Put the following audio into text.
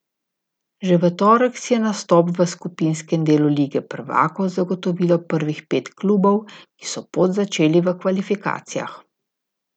Že v torek si je nastop v skupinskem delu lige prvakov zagotovilo prvih pet klubov, ki so pot začeli v kvalifikacijah.